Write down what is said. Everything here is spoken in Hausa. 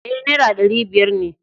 E, Naira ɗari biyar ne.